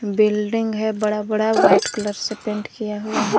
Building है बड़ा बड़ा व्हाइट कलर से पेंट किया हुआ है।